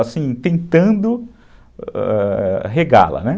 Assim, tentando ãh regá-la, né?